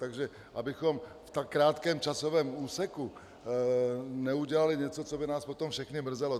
Takže abychom v tak krátkém časovém úseku neudělali něco, co by nás potom všechny mrzelo.